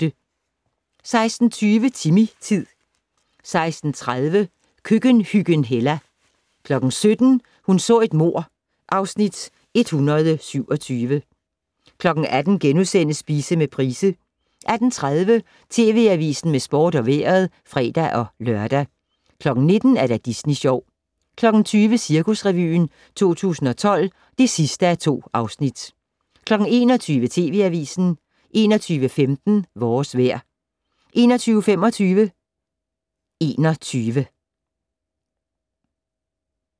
16:20: Timmy-tid 16:30: Køkkenhyggen Hella 17:00: Hun så et mord (Afs. 127) 18:00: Spise med Price * 18:30: TV Avisen med sport og vejret (fre-lør) 19:00: Disney Sjov 20:00: Cirkusrevyen 2012 (2:2) 21:00: TV Avisen 21:15: Vores vejr 21:25: 21